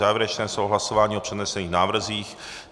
Závěrečné slovo, hlasování o přednesených návrzích.